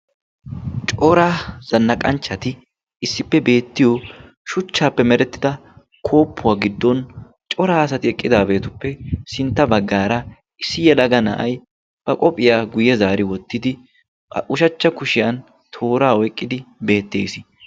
Cora zannaqanchchati issippe beettiyo shuchchaappe merettida kooppuwaa giddon coraa asati eqqidaabeetuppe sintta baggaara issi yelaga na'ay ba qoophiyaa guyye zaari wottidi ba ushachcha kushiyan tooraa oyqqidi beettees.